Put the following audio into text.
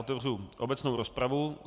Otevřu obecnou rozpravu.